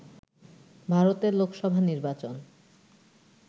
ভারতের লোকসভা নির্বাচন